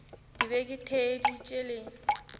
ke be ke theeditše le